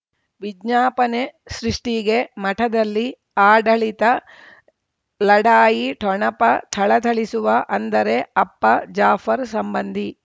ವಿಜ್ಞಾಪನೆ ಸೃಷ್ಟಿಗೆ ಮಠದಲ್ಲಿ ಆಡಳಿತ ಲಢಾಯಿ ಠೊಣಪ ಥಳಥಳಿಸುವ ಅಂದರೆ ಅಪ್ಪ ಜಾಫರ್ ಸಂಬಂಧಿ